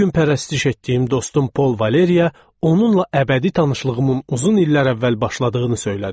Bir gün pərəstiş etdiyim dostum Paul Valeriya onunla əbədi tanışlığımın uzun illər əvvəl başladığını söylədim.